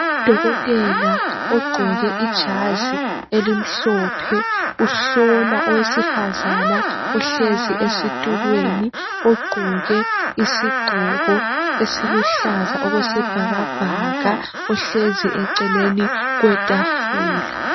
Udokotela ogqoke ijazi elimhlophe uhlola owesifazana ohlezi ezitulweni ogqoke isigqoko esiluhlaza okwesibhakabhaka ohlezi eceleni kwetafula.